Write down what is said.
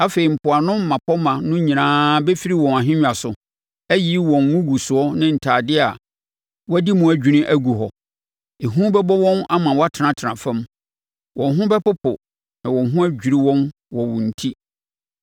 Afei mpoano mmapɔmma no nyinaa bɛfiri wɔn nhennwa so, ayiyi wɔn ngugusoɔ ne ntadeɛ a wɔadi mu adwini agu hɔ. Ehu bɛbɔ wɔn ama wɔatenatena fam. Wɔn ho bɛpopo na wɔn ho adwiri wɔn wɔ wo enti.